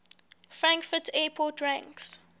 frankfurt airport ranks